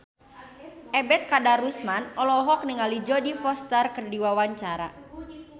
Ebet Kadarusman olohok ningali Jodie Foster keur diwawancara